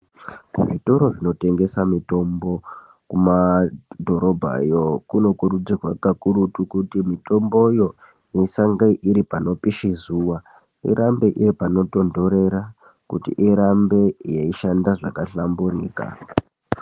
Kuzvitora zvinotengesa mitombo kumadhorobhayo kunokurudzirwa kakurutu kuti mitomboyo isange iri panopisha zuwa, irambe iri panotonthorera kuti irambe yeishanda zvakahlamburika.